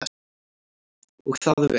Og það vel.